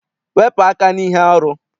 Wepụ aka n'ihe arụ!